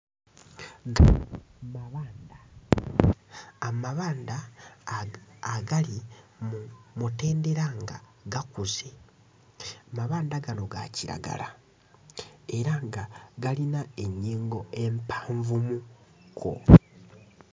Gano mabanda. Amabanda agali mu mutendera nga gakuze. Mabanda gano ga kiragala era nga galina ennyingo empanvumukko.